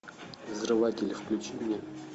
взрыватель включи мне